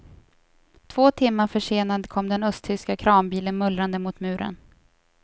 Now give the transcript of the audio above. Två timmar försenad kom den östtyska kranbilen mullrande mot muren.